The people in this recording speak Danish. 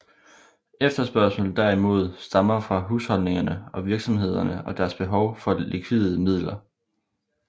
Efterspørgslen derimod stammer fra husholdningerne og virksomhederne og deres behov for likvide midler